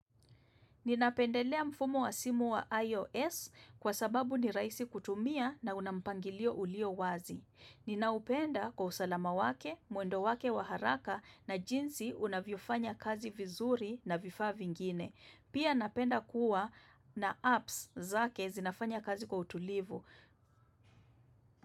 Ninapendelea mfumo wa simu wa iOS kwa sababu ni rahisi kutumia na una mpangilio ulio wazi. Ninaupenda kwa usalama wake, mwendo wake wa haraka na jinsi unavyofanya kazi vizuri na vifaa vingine. Pia napenda kuwa na apps zake zinafanya kazi kwa utulivu.